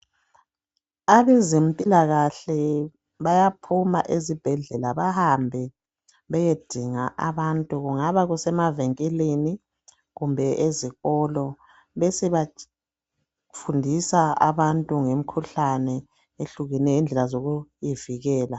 abezempilakhle bayaphuma ezibhedlela bahambe beyedinga abantu kungaba kusemavinkilini kumbe ezikolo besebefundisa abantu ngemikhuhlane ehlukeneyo lendlela zokuyivikela